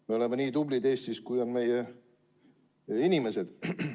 Me oleme Eestis nii tublid, kui on meie inimesed.